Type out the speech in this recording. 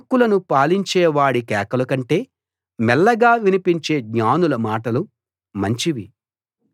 మూర్ఖులను పాలించేవాడి కేకలకంటే మెల్లగా వినిపించే జ్ఞానుల మాటలు మంచివి